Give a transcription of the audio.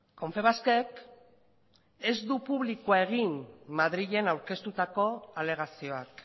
confebask ek ez du publikoa egin madrilen aurkeztutako alegazioak